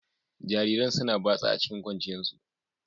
Jarirain suna batsa a cikin kwanciyan su.